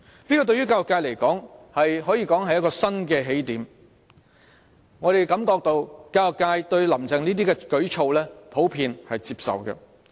對教育界而言，這可說是新起點，而我們感到教育界普遍對"林鄭"的這些舉措是接受的。